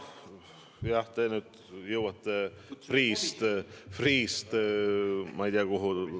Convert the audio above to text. Nojah, te nüüd jõuate Freeh'st ma ei tea kuhu.